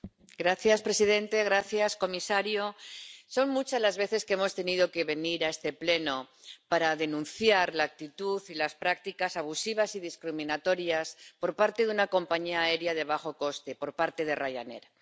Señor presidente, señor comisario, son muchas las veces que hemos tenido que venir a este Pleno para denunciar la actitud y las prácticas abusivas y discriminatorias por parte de una compañía aérea de bajo coste, por parte de Ryanair.